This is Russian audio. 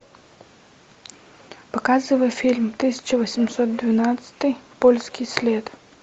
показывай фильм тысяча восемьсот двенадцатый польский след